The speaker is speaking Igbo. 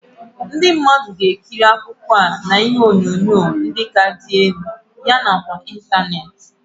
Ndị mmadụ ga-ekiri akụkọ a na TiVii ndị ka dị elu yana ịntanetị.